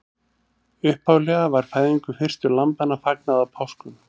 Upphaflega var fæðingu fyrstu lambanna fagnað á páskum.